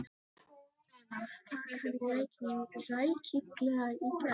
Lenu, taka hana rækilega í gegn.